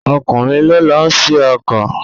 okunrin lón ló sì oko.